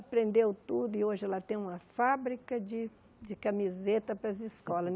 Aprendeu tudo e hoje ela tem uma fábrica de de camisetas para as escolas.